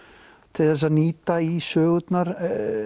til þess að nýta í sögurnar